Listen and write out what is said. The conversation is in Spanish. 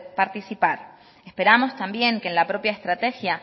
participar esperamos también que en la propia estrategia